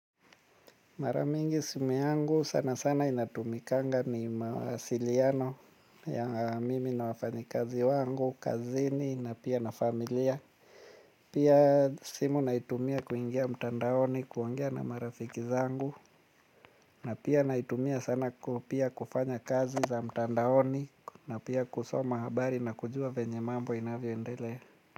Mara mingi simu yangu sana sana inatumikanga ni mawasiliano ya mimi na wafanyikazi wangu, kazini na pia na familia. Pia simu naitumia kuingia mtandaoni kuongea na marafiki zangu. Na pia naitumia sana pia kufanya kazi za mtandaoni na pia kusoma habari na kujua vyenye mambo inavyoendelea.